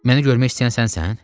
Məni görmək istəyən sənsən?